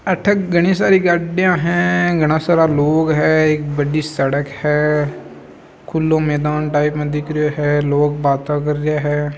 अठे घणी सारी गाड़िया है घना सारा लोग है एक बड़ी सड़क है खुलो मैदान टाइप माँ दिख रयो है लोग बाता कर रिया है।